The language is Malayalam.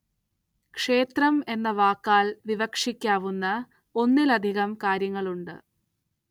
ക്ഷേത്രം എന്ന വാക്കാല്‍ വിവക്ഷിക്കാവുന്ന ഒന്നിലധികം കാര്യങ്ങളുണ്ട്